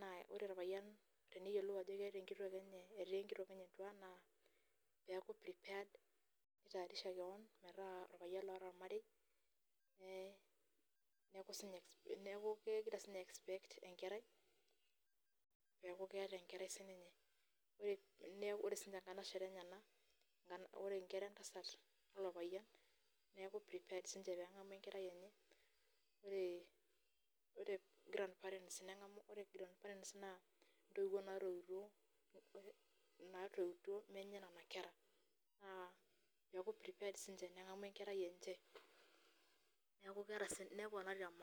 ,naa ore orpayian teneyiolou ajo etaa enkitok enye entua naa peeku prepared nitayarisha keon metaa orpayian loota ormarei neeku kegira siininye a expect enkerai neeku keeta enkerai siininye ore siininche nkanashera enyenak ore nkera entasat ilo payian neeku prepared siininche pee engamu enkarai enche ore grandparents naa mtoiwu natoiuto menye ina kerai naa keeku siininche prepared nengamu enkerai enche naa neponari tormarei.